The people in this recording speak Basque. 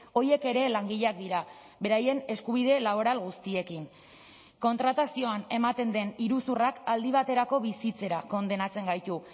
horiek ere langileak dira beraien eskubide laboral guztiekin kontratazioan ematen den iruzurrak aldi baterako bizitzera kondenatzen gaitu